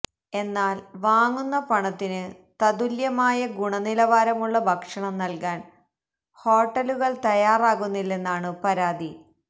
എന്നാല് വാങ്ങുന്ന പണത്തിനു തത്തുല്യമായ ഗുണനിലവാരമുള്ള ഭക്ഷണം നല്കാന് ഹോട്ടലുകള് തയ്യാറാകുന്നില്ലെന്നാണു പരാതി